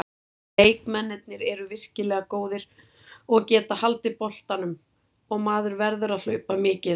Leikmennirnir eru virkilega góðir og geta haldið boltanum, og maður verður að hlaupa mikið.